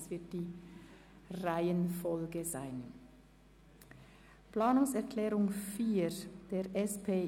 Wir stimmen über die Planungserklärung 4 ab.